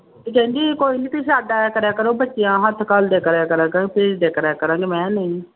ਤੇ ਕਹਿੰਦੀ ਕੋਈ ਨੀ ਤੁਸੀਂ ਛੱਡ ਆਇਆ ਕਰਿਆ ਕਰੋ ਬੱਚਿਆਂ ਹੱਥ ਘੱਲਦਿਆ ਕਰਿਆ ਕਰਾਂਗੇ ਭੇਜ ਦਿਆ ਕਰਿਆ ਕਰਾਂਗੇ, ਮੈਂ ਕਿਹਾ ਨਹੀਂ।